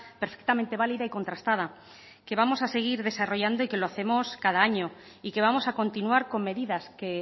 perfectamente válida y contrastada que vamos a seguir desarrollando y que lo hacemos cada año y que vamos a continuar con medidas que